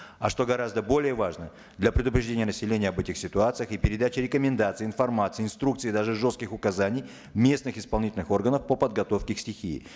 а что гораздо более важно для предупреждения населения об этих ситуациях и передаче рекомендаций информации инструкций даже жестких указаний местных исполнительных органов по подготовке к стихии